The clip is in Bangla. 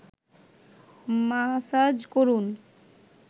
মাসাজ করুন